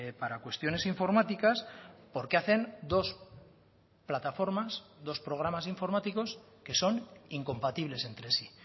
para cuestiones informáticas por qué hacen dos plataformas dos programas informáticos que son incompatibles entre sí